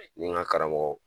Ni n ka karamɔgɔw.